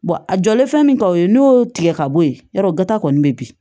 a jɔlen fɛn min ka o ye n'o y'o tigɛ ka bɔ yen yɔrɔ ta kɔni bɛ bin